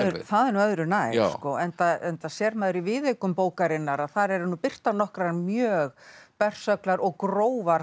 það er nú öðru nær enda enda sér maður í viðaukum bókarinnar að þar eru birtar nokkrar mjög bersöglar og grófar